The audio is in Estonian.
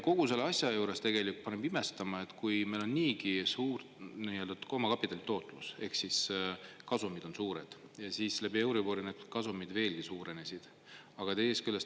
Kogu selle asja juures paneb imestama, et neil on niigi suur omakapitali tootlus ehk kasumid on suured ja euriboriga need kasumid veelgi suurenesid, aga teisest küljest …